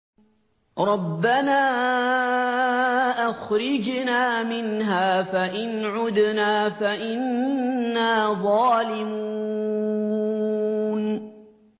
رَبَّنَا أَخْرِجْنَا مِنْهَا فَإِنْ عُدْنَا فَإِنَّا ظَالِمُونَ